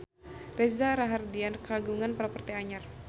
Reza Rahardian kagungan properti anyar